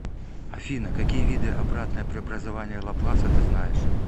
афина какие виды обратное преобразование лапласа ты знаешь